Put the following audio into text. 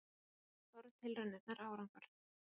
Loks báru tilraunirnar árangur.